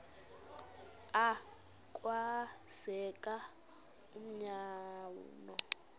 a kwenzeka umanyano